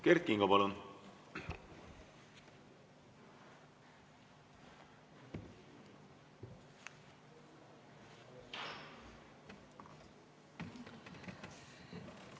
Kert Kingo, palun!